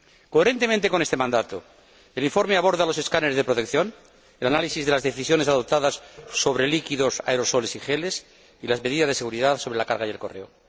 Coherentemente con este mandato, el informe aborda los escáneres de protección, el análisis de las decisiones adoptadas sobre líquidos, aerosoles y geles, y las medidas de seguridad sobre la carga y el correo.